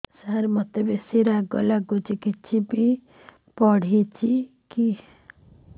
ସାର ମୋତେ ବେସି ରାଗ ଲାଗୁଚି କିଛି ବି.ପି ବଢ଼ିଚି କି